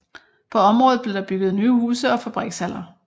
På området blev der bygget nye huse og fabrikshaller